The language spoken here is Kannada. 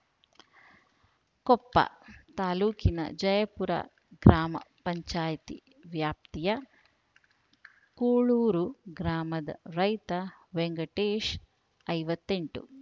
ಕೊಪ್ಪ ತಾಲೂಕಿನ ಜಯಪುರ ಗ್ರಾಮ ಪಂಚಾಯಿತಿ ವ್ಯಾಪ್ತಿಯ ಕೂಳೂರು ಗ್ರಾಮದ ರೈತ ವೆಂಕಟೇಶ್‌ ಐವತ್ತೆಂಟು